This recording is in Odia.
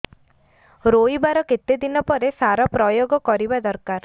ରୋଈବା ର କେତେ ଦିନ ପରେ ସାର ପ୍ରୋୟାଗ କରିବା ଦରକାର